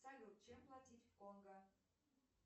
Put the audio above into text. салют чем платить в конго